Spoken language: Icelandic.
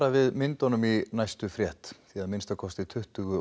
við myndunum í næstu frétt að minnsta kosti tuttugu